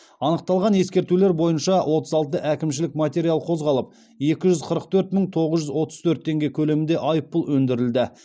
анықталған ескертулер бойынша отыз алты әкімшілік материал қозғалып екі жүз қырық төрт мың тоғыз жүз отыз төрт теңге көлемінде айыппұл өндірілді